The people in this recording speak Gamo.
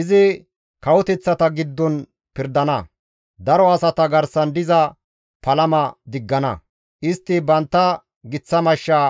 Izi kawoteththata giddon pirdana; daro asata garsan diza palama izi diggana. Istti bantta giththa mashsha